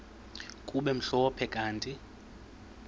kube mhlophe kanti